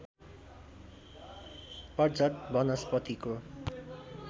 पतझड वनस्पतिको